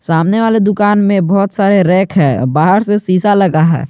सामने वाले दुकान में बहोत सारे रैक हैं बहार से शीशा लगा है।